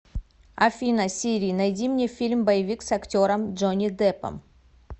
афина сири найди мне фильм боевик с актером джонни деппом